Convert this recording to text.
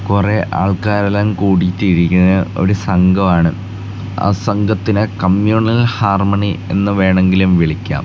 കൊറേ ആൾക്കരെല്ലാം കൂടീട്ട് ഇരിക്കണ ഒരു സംഘമാണ് ആ സംഘത്തിനെ കമ്യുണൽ ഹാർമണി എന്ന് വേണങ്കിലും വിളിക്കാം.